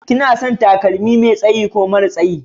Kina son takalmi Mai tsaye ko mara tsayi?